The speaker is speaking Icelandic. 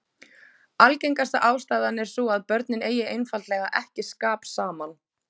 Algengasta ástæðan er sú að börnin eigi einfaldlega ekki skap saman.